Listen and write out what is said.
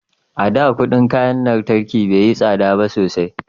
a da kudin kayan lantarki bai yi tsada sosai ba